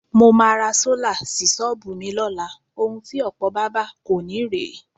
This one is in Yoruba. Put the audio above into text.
Mo máa ra sólà sí s̩ó̩ò̩bù mi ló̩la. Ohun ti ò̩pò̩ bábà kò ní rè é.